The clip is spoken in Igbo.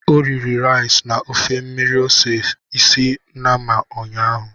O riri rice na ofe mmiri ose isi nnama ụnyaahụ.